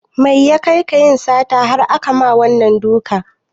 Mai ya kai ka yin sata har akama wannan dukan?